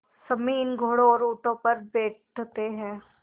सम्मी इन घोड़ों और ऊँटों पर बैठते हैं